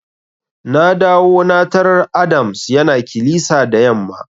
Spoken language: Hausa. Na dawo na tarar Adams yana kilisa da yamma.